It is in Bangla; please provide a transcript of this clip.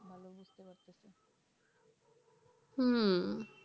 হম